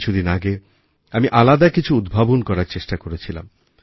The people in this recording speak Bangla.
কিছু দিন আগে আমি আলাদা কিছু উদ্ভাবন করার চেষ্টা করেছিলাম